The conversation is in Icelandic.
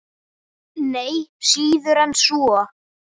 Nei, síður en svo.